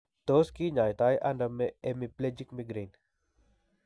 Tos kinyaitaiano hemiplegic migraine?